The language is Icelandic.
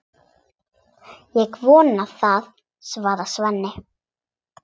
Ég vona það, svarar Svenni.